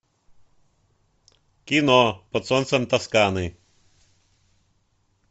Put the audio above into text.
кино под солнцем тосканы